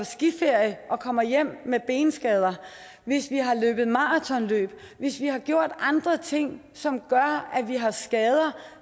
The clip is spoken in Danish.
skiferie og kommer hjem med benskader hvis vi har løbet maratonløb hvis vi har gjort andre ting som gør at vi har skader